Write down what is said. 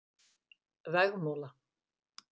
Vegmúla